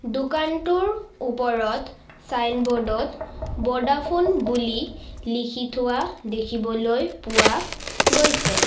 দোকানটোৰ ওপৰত চাইনব'ৰ্ড ত বডাফোন বুলি লিখি থোৱা দেখিবলৈ পোৱা গৈছে।